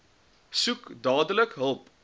soek dadelik hulp